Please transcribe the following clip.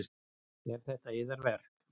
Eru þetta yðar verk?